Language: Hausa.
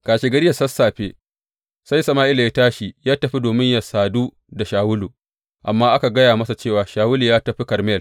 Kashegari da sassafe sai Sama’ila ya tashi ya tafi domin yă sadu da Shawulu, amma aka gaya masa cewa Shawulu ya tafi Karmel.